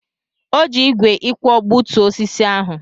O ji ígwè ịkwọ gbutuo osisi ahụ.